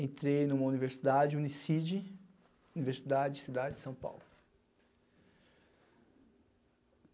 Entrei em uma universidade, Unicid, Universidade Cidade de São Paulo.